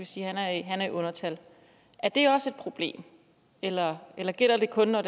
sige at han er i undertal er det også et problem eller gælder gælder det kun når